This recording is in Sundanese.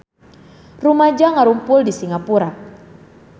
Rumaja ngarumpul di Singapura